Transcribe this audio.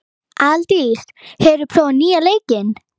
Aðaldís, hefur þú prófað nýja leikinn?